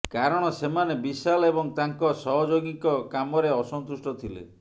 କାରଣ ସେମାନେ ବିଶାଲ ଏବଂ ତାଙ୍କ ସହଯୋଗୀଙ୍କ କାମରେ ଅସନ୍ତୁଷ୍ଟ ଥିଲେ